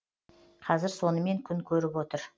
қазір сонымен күн көріп отыр